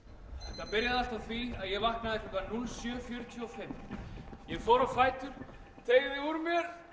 þetta byrjaði allt á því að ég vaknaði klukkan núll sjö fjörutíu og fimm ég fór á fætur teygði úr mér